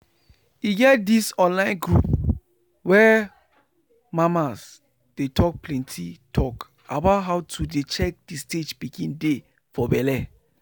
e get this online group where mama's dey talk plenty talk about how to dey check the stage pikin dey for belle.